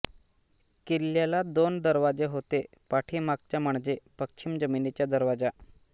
किल्याला दोन दरवाजे होते पाठीमागच्या म्हणजे पश्चिम जमीनीचा दरवाजा